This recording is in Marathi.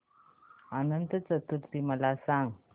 अनंत चतुर्दशी मला सांगा